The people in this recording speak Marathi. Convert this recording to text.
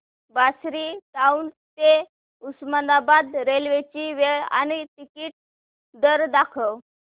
बार्शी टाऊन ते उस्मानाबाद रेल्वे ची वेळ आणि तिकीट दर दाखव